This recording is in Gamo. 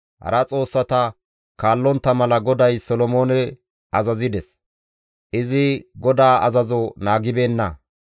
Hara xoossata kaallontta mala GODAY Solomoone azazides; izi GODAA azazo naagibeenna.